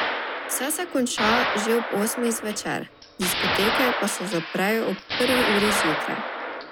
Vse se konča že ob osmih zvečer, diskoteke pa se zaprejo ob prvi uri zjutraj.